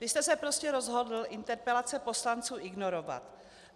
Vy jste se prostě rozhodl interpelace poslanců ignorovat.